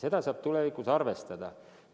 Seda saab tulevikus arvestada.